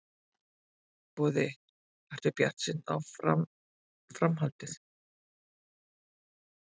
Boði: Ertu bjartsýnn á fram, framhaldið?